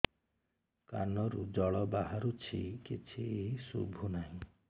କାନରୁ ଜଳ ବାହାରୁଛି କିଛି ଶୁଭୁ ନାହିଁ